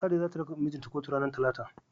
Sariya zata raka mijinta kotun ranar talata.